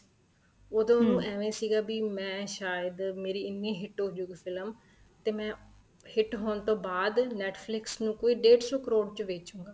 ਉਦੋ ਉਹਨੂੰ ਐਵੇਂ ਸੀਗਾ ਵੀ ਮੈਂ ਸਾਇਦ ਮੇਰੀ ਐਨੀਂ hit ਹੋ ਗਈ ਫ਼ਿਲਮ ਤੇ ਮੈਂ hit ਹੋਣ ਤੋ ਬਾਅਦ Netflix ਨੂੰ ਕੋਈ ਡੇਡ ਸੋ ਕਰੋੜ ਚ ਵੈਚੂਗਾ